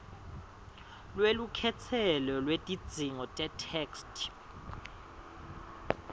lwelukhetselo lwetidzingo tetheksthi